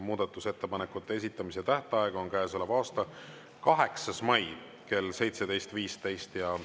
Muudatusettepanekute esitamise tähtaeg on käesoleva aasta 8. mai kell 17.15.